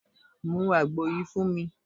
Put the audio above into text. Mú àgbo yìí fún mi